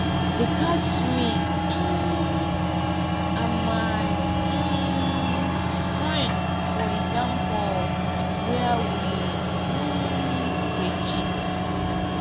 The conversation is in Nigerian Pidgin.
dey catch me um and my um friend for exam hall where we um dey cheat